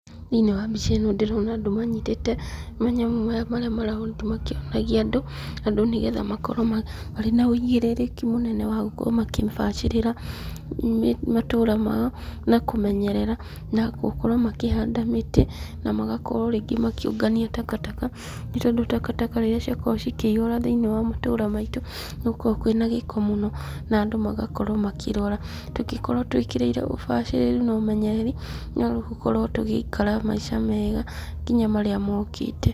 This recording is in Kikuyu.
Thĩiniĩ wa mbica ĩno ndĩrona andũ manyitĩte manyamũ maya marĩa marathiĩ makĩonagia andũ, andũ nĩgetha makorwo marĩ na ũigĩrĩrĩki mũnene wa gũkorwo makĩbacĩrĩra matũra mao na kũmenyerera, na gũkorwo makĩhanda mĩtĩ, na magakorwo rĩngĩ makĩũngania takataka, nĩ tondũ takataka rĩrĩa ciakorwo cikĩihũra thĩiniĩ wa matũra maitũ, nĩ gũkoragwo kwĩna gĩko mũno na andũ magakorwo makĩrwara, tũngĩkorwo twĩkĩrĩire ũbacĩrĩri na ũmenyereri, no tũkorwo tũgĩikara maica mega nginya marĩa mokĩte.